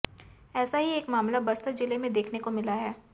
ऐसा ही एक मामला बस्तर जिले में देखने को मिला है